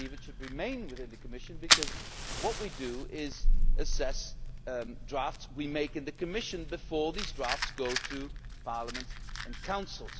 I believe it should remain within the Commission, because what we do is assess drafts we make in the Commission before these drafts go to Parliament and the Council.